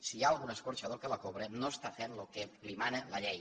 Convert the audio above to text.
si hi ha algun escorxador que la cobra no està fent el que li mana la llei